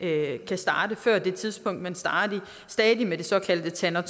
starte før det tidspunkt men stadig med det såkaldte tanner